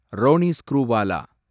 Ronnie Screwvala